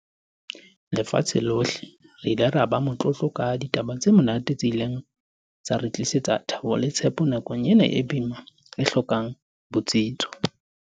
lefatshe lohle, re ile ra ba motlotlo ka ditaba tse monate tse ileng tsa re tlisetsa thabo le tshepo nakong ena e boima, e hlokang botsitso.